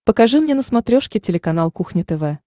покажи мне на смотрешке телеканал кухня тв